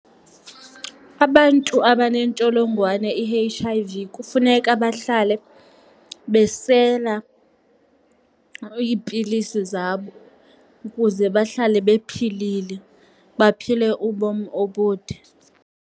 Abantu abanentsholongwane i-H_ I_V kufuneka bahlale besela iipilisi zabo ukuze bahlale bephilile, baphile ubomi obude.